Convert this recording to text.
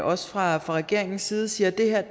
også fra regeringens side siger at det her